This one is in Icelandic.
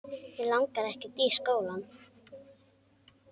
Mig langar ekkert í skóla.